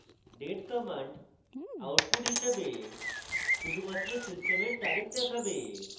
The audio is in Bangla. date command output হিসাবে শুধুমাত্র সিস্টেমের তারিখ দেখাবে